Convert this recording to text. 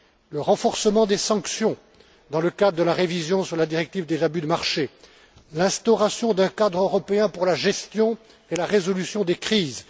le renforcement des sanctions dans le cadre de la révision de la directive sur les abus de marché, l'instauration d'un cadre européen pour la gestion et la résolution des crises.